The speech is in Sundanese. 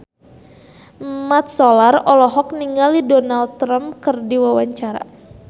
Mat Solar olohok ningali Donald Trump keur diwawancara